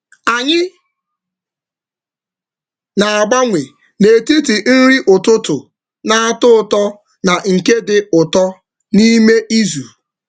Anyị na-agbanwe n’etiti nri ụtụtụ na-atọ ụtọ na nke dị ụtọ n’ime izu.